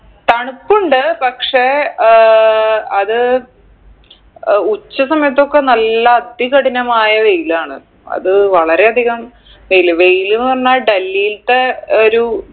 തണുപ്പുണ്ട് പക്ഷേ ഏർ അത് ഏർ ഉച്ച സമയത്തൊക്കെ നല്ല അതികഠിനമായ വെയിലാണ് അത് വളരെയധികം വെയില് വെയിലിന്ന് പറഞ്ഞ ഡൽഹീൽത്തെ ഒരു